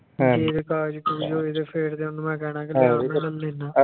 ਜੇ ਤੇ ਕਾਗਜ਼ ਕੁਗਜ਼ ਹੋਏ ਤੇ ਫਿਰ ਤੇ ਉਹਨੂੰ ਮੈਂ ਕਹਿਣਾ ਕਿ ਆ ਕੇ ਲਁਲ ਲੈਨਾ